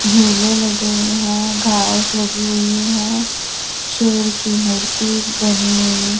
झूले लगे हुए हैं घास लगी हुई है। शेर की मूर्ति बनी हुई।